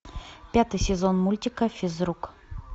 пятый сезон мультика физрук